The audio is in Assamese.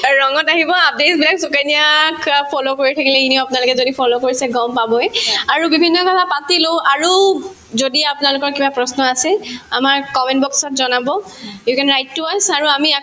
আৰু ৰানংত আহিব সুকন্যাক অ follow কৰি থাকিলে এনেও আপোনালোকে যদি follow কৰিছে গম পাবই আৰু বিভিন্ন কথা পাতিলো আৰু যদি আপোনালোকৰ কিবা প্ৰশ্ন আছে আমাৰ comment box ত জনাব you can write to us আৰু আমি আকৌ